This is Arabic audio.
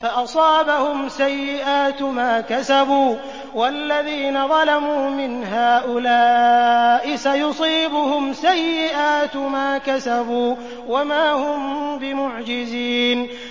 فَأَصَابَهُمْ سَيِّئَاتُ مَا كَسَبُوا ۚ وَالَّذِينَ ظَلَمُوا مِنْ هَٰؤُلَاءِ سَيُصِيبُهُمْ سَيِّئَاتُ مَا كَسَبُوا وَمَا هُم بِمُعْجِزِينَ